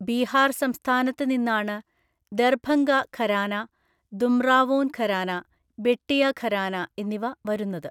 ബീഹാർ സംസ്ഥാനത്ത് നിന്നാണ് ദർഭംഗ ഘരാന, ദുംറാവോൻ ഘരാന, ബെട്ടിയ ഘരാന എന്നിവ വരുന്നത്.